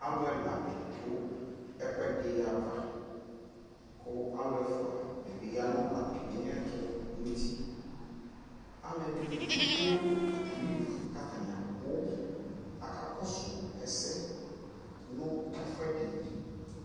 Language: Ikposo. alʋ ɛla didʋ ɛkʋɛdi aɣa kʋ alʋ ɛƒʋa dibi yanʋ atami ɛtʋ nʋ ʋti, alʋɛdini bi twɛnʋ ʋdʋkʋ atani abʋ ,aka kɔsʋ ɛsɛ nʋ ɛƒʋɛdi